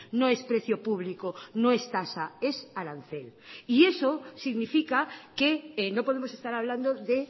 no es precio público no es tasa es arancel y eso significa que no podemos estar hablando de